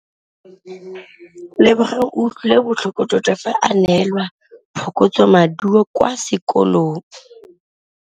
Lebogang o utlwile botlhoko tota fa a neelwa phokotsômaduô kwa sekolong.